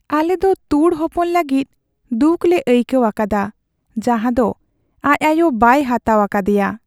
ᱟᱞᱮ ᱫᱚ ᱛᱩᱲ ᱦᱚᱯᱚᱱ ᱞᱟᱹᱜᱤᱫ ᱫᱩᱠ ᱞᱮ ᱟᱹᱭᱠᱟᱹᱣ ᱟᱠᱟᱫᱟ ᱡᱟᱦᱟᱸ ᱫᱚ ᱟᱡ ᱟᱭᱳ ᱵᱟᱭ ᱦᱟᱛᱟᱣ ᱟᱠᱟᱫᱮᱭᱟ ᱾